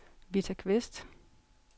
Vita Kvist